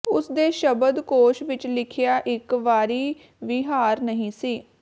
ਉਸ ਦੇ ਸ਼ਬਦ ਕੋਸ਼ ਵਿੱਚ ਲਿਖਿਆ ਇੱਕ ਵਾਰੀ ਵੀ ਹਾਰ ਨਹੀਂ ਸੀ